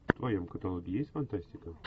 в твоем каталоге есть фантастика